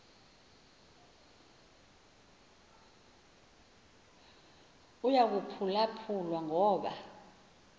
uyaphulwaphu lwa ngoba